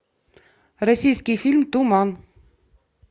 российский фильм туман